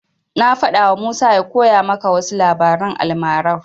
Na faɗawa Musa ya koya maka wasu labaran almarar.